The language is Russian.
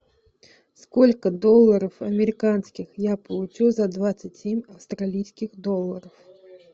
сколько долларов американских я получу за двадцать семь австралийских долларов